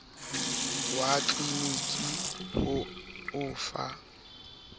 wa tleliniki ho o fa